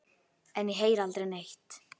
En ég heyri aldrei neitt.